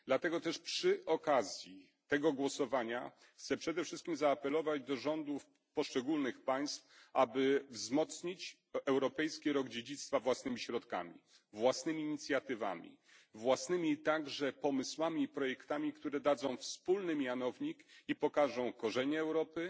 Dlatego też przy okazji tego głosowania chcę przede wszystkim zaapelować do rządów poszczególnych państw, aby wzmocnić Europejski Rok Dziedzictwa własnymi środkami, własnymi inicjatywami, a także własnymi pomysłami i projektami, które dadzą wspólny mianownik i pokażą korzenie Europy,